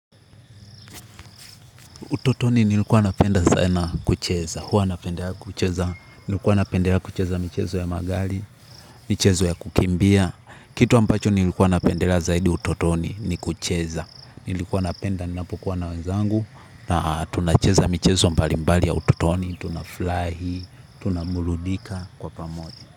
Utotoni nilikuwa napenda sana kucheza, huwa napenda kucheza, nilikuwa napenda kucheza michezo ya magari, michezo ya kukimbia, kitu ambacho nilikuwa napendelea zaidi utotoni ni kucheza, nilikuwa napenda ninapokuwa na wenzangu, na tunacheza michezo mbalimbali ya utotoni, tuna fly, tunabuludika kwa pamoja.